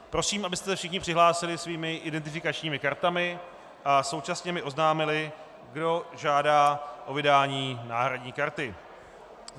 Prosím, abyste se všichni přihlásili svými identifikačními kartami a současně mi oznámili, kdo žádá o vydání náhradní karty.